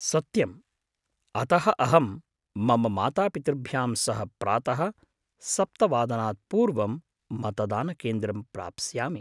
सत्यम्। अतः अहं मम मातापितृभ्यां सह प्रातः सप्त वादनात् पूर्वं मतदानकेन्द्रं प्राप्स्यामि।